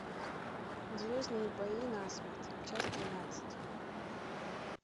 звездные бои насмерть часть тринадцать